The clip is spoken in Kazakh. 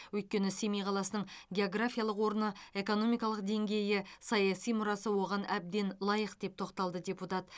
өйткені семей қаласының географиялық орны экономикалық деңгейі саяси мұрасы оған әбден лайық деп тоқталды депутат